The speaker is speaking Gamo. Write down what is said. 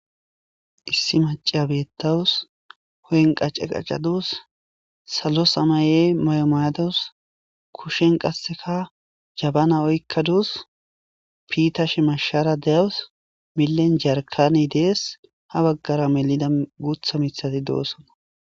issi maciya bettawus hu'en qace qacaduus salo samaye mayo mayadus kushen qasseka jabana oykkaduus piitashe mashara de'awus milen jarkani dees ha baggara melida gutha mithati doossona